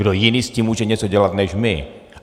Kdo jiný s tím může něco dělat než my?